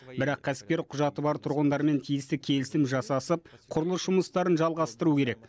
бірақ кәсіпкер құжаты бар тұрғындармен тиісті келісім жасасып құрылыс жұмыстарын жалғастыру керек